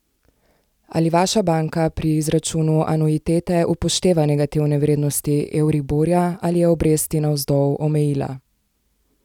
Ali vaša banka pri izračunu anuitete upošteva negativne vrednosti euriborja, ali je obresti navzdol omejila?